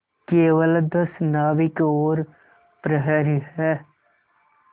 केवल दस नाविक और प्रहरी है